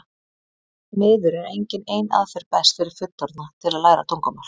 því miður er engin ein aðferð best fyrir fullorðna til að læra tungumál